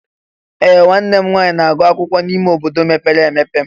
Ee! Nwanne m nwanyị na-agụ akwụkwọ n'ime ime obodo mepere emepe.